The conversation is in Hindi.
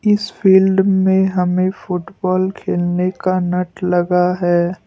इस फील्ड में हमें फुटबॉल खेलने का नट लगा है।